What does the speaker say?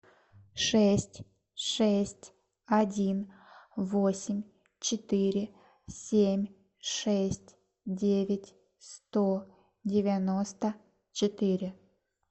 шесть шесть один восемь четыре семь шесть девять сто девяносто четыре